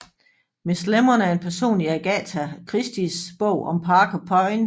Miss Lemon er en person i Agatha Christies bog om Parker Pyne